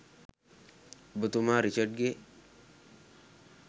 ඔබ තුමා රිචඩ් ගේ